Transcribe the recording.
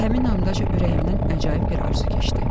Həmin andaca ürəyimdən əcayıb bir arzu keçdi.